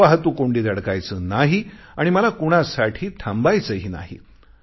मला वाहतूक कोंडीत अडकायचे नाही आणि मला कुणासाठी थांबायचेही नाही